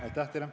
Ei näi olevat.